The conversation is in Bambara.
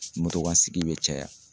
kansigi bɛ caya.